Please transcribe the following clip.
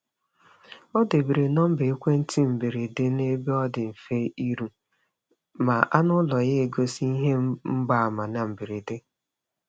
Ọ debere nọmba ekwentị mberede n’ebe ọ dị mfe iru ma anụ ụlọ ya egosi ihe mgbaàmà na mberede.